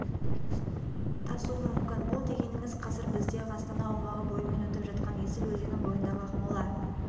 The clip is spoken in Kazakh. тасуы мүмкін бұл дегеніңіз қазір бізде астана аумағы бойымен өтіп жатқан есіл өзені бойындағы ақмола